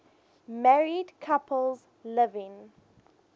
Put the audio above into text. married couples living